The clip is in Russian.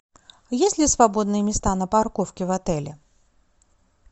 есть ли свободные места на парковке в отеле